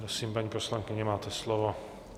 Prosím, paní poslankyně, máte slovo.